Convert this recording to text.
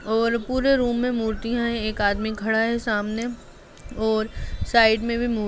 और पूरे रूम मे मूर्तिया है एक आदमी खड़ा है सामने और साइड मे भी मूर--